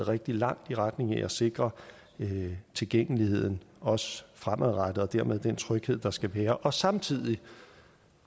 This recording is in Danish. rigtig langt i retning af at sikre tilgængeligheden også fremadrettet og dermed den tryghed der skal være og samtidig